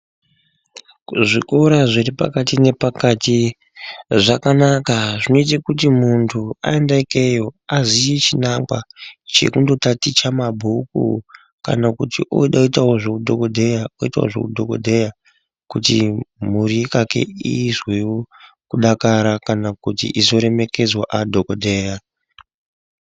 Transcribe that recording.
Kuzvikora zviri pakati nepakati zvakanaka zvinoite kuti muntu aende ikeyo aziye chinangwa chekunditaticha mabhuku kana kuti unode kuitawo zveudhokodheya oitawo zveudhokodheya kuti mhuri yekwake izwewo kudakara kana kuti izoremekedzwa adhokodheya.